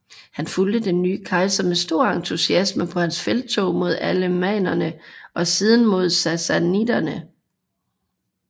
Han fulgte den nye kejser med stor entusiasme på hans felttog mod alemannerne og siden mod sassaniderne